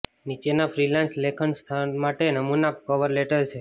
નીચેના ફ્રીલાન્સ લેખન સ્થાન માટે નમૂના કવર લેટર છે